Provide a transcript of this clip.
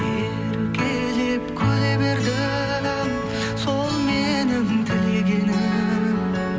еркелеп күле бердің сол менің тілегенім